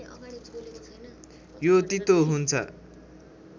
यो तितो हुन्छ